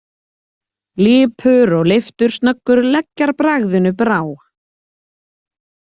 Lipur og leiftursnöggur leggjarbragðinu brá.